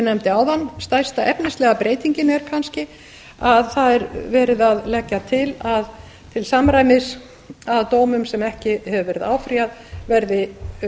nefndi áðan stærsta efnislega breytingin er kannski að það er verið að leggja til til samræmis að dómum sem ekki hefur verið áfrýjað verði